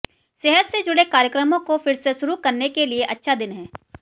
सेहत से जुड़े कार्यक्रमों को फिर से शुरू करने के लिए अच्छा दिन है